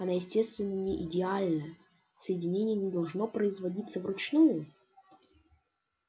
она естественно не идеальна соединение не должно производиться вручную